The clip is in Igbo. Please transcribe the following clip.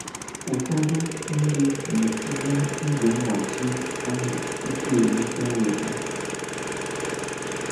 Ụfọdụ ndị na-etinye ígwè mgbachi ahụ tupu e wuchaa ụlọ ha.